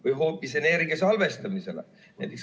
Või hoopis energia salvestamisele?